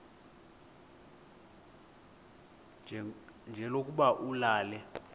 nje lokuba ulale